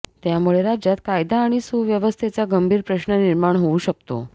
त्यामुळे राज्यात कायदा आणि सुव्यवस्थेचा गंभीर प्रश्न निर्माण होऊ शकतो